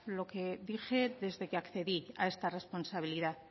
lo que dije desde que accedí a esta responsabilidad